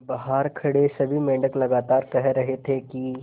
बहार खड़े सभी मेंढक लगातार कह रहे थे कि